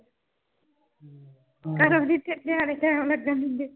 ਘਰੋਂ ਵਿਚ ਨਿਆਣੇ ਟਾਈਮ ਨਹੀਂ ਲੱਗਣ ਦੇਦੇ